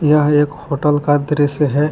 यह एक होटल का दृश्य है।